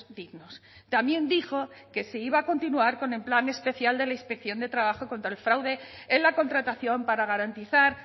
dignos también dijo que se iba a continuar con el plan especial de la inspección de trabajo contra el fraude en la contratación para garantizar